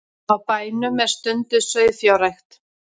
Á bænum er stunduð sauðfjárrækt